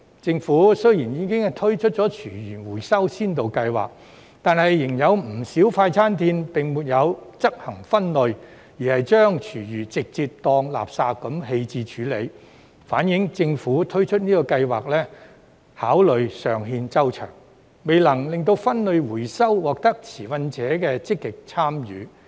政府雖然已推出廚餘收集先導計劃，但仍有不少快餐店並沒有執行分類，而是把廚餘直接當作垃圾棄置處理，反映政府推出的計劃考慮尚欠周詳，未能令分類回收獲得持份者的積極參與。